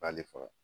B'ale faga